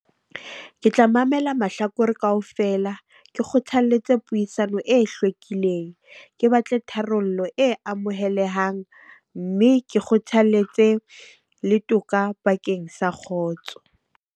Ke tla mamela mahlakore kaofela. Ke kgothaletse puisano e hlwekileng. Ke batle tharollo e amohelehang, mme ke kgothaletse le toka bakeng sa kgotso.